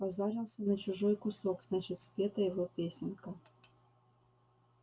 позарился на чужой кусок значит спета его песенка